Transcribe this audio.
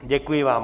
Děkuji vám.